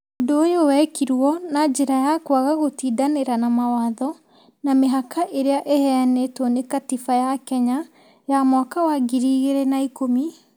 Ũndũ ũyũ wekirwo na njĩra ya kwaga gũtindanĩra na mawatho na mĩhaka ĩrĩa ĩheanĩtwo nĩ Katiba ya Kenya ya mwaka wa ngiri igĩrĩ na ikũmi,